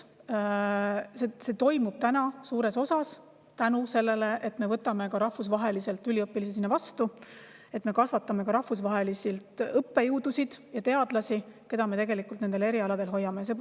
See toimub suures osas tänu sellele, et me võtame ka rahvusvaheliselt üliõpilasi sinna vastu, et me kasvatame ka rahvusvaheliselt õppejõudusid ja teadlasi, keda me nendel erialadel hoiame.